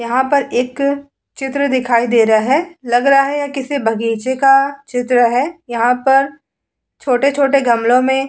यहां पर एक चित्र दिखाई दे रहा है। लग रहा है यह किसी बगीचे का चित्र है। यहां पर छोटे-छोटे गमलों में --